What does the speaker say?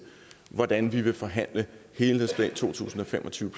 hvordan vi vil forhandle helhedsplanen altså to tusind og fem og tyve